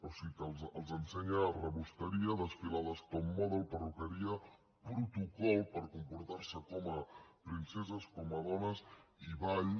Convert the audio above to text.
o sigui que els ensenya rebosteria desfilades top model perruqueria protocol per comportar se com a princeses com a dones i ball